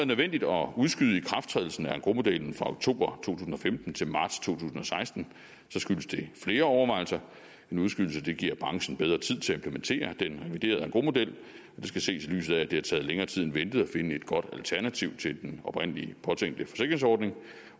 nødvendigt at udskyde ikrafttrædelsen af engrosmodellen fra oktober tusind og femten til marts to tusind og seksten skyldes det flere overvejelser en udskydelse giver branchen bedre tid til at implementere den reviderede engrosmodel og skal ses i lyset af at det har taget længere tid end ventet at finde et godt alternativ til den oprindelig påtænkte forsikringsordning